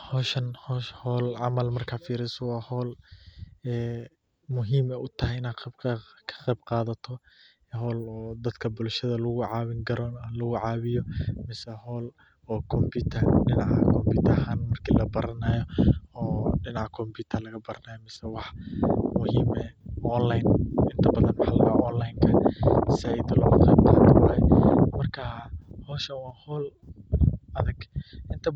Howshan marka firiso waa howol in aad ka qeyb kadato muhiim u tahay bulshaada lagu cawiyo mase computer ahan marki labaranayo dinaca computer ka waxaa laga yawa in online ka marka howshan waa howl adag, inta